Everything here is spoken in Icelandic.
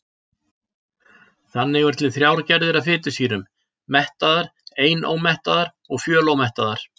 Þannig eru til þrjár gerðir af fitusýrum: mettaðar, einómettaðar og fjölómettaðar.